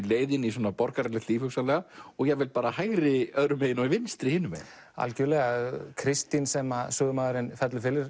leið inn í borgaralegt líf hugsanlega og jafnvel hægri öðru megin og vinstri hinum megin algjörlega Kristín sem sögumaðurinn fellur